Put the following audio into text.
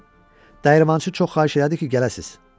Dəyirmançı çox xahiş elədi ki, gələsiz.